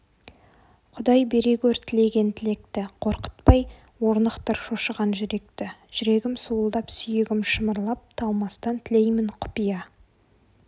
құдай бере гөр тілеген тілекті қорқытпай орнықтыр шошыған жүректі жүрегім суылдап сүйегім шымырлап талмастан тілеймін құпия